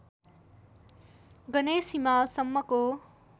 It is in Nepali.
गणेश हिमालसम्मको